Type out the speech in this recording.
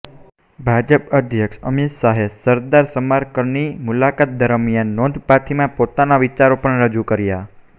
ભાજપ અધ્યક્ષ અમિત શાહે સરદાર સ્મારકની મુલાકાત દરમ્યાન નોંધપાથીમાં પોતાના વિચારો પણ રજૂ કર્યા